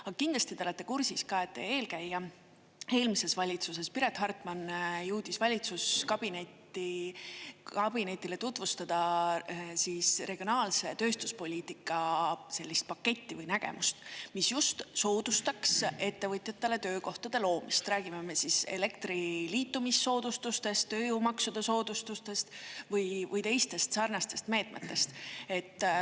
Aga kindlasti te olete kursis ka, et teie eelkäija eelmises valitsuses, Piret Hartman, jõudis valitsuskabinetile tutvustada regionaalse tööstuspoliitika sellist paketti või nägemust, mis soodustaks ettevõtjatele töökohtade loomist, räägime me siis elektri liitumissoodustustest, tööjõumaksude soodustustest või teistest sarnastest meetmetest.